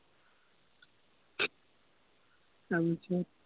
তাৰপিছত